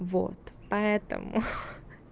вот поэтому